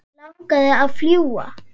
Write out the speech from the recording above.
Hann langaði að fljúga.